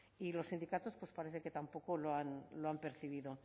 y los sindicatos pues parece que tampoco lo han percibido